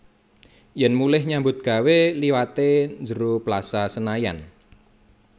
Yen mulih nyambut gawe liwate njero Plaza Senayan